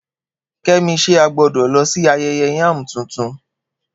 Kemi, ṣé a gbọ́dọ̀ lọ sí ayẹyẹ yam tuntun?